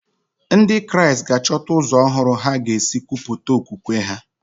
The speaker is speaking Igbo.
Ndị Kraịst ga-achọta ụzọ ọhụrụ ha ga-esi kwupụta okwukwe ha.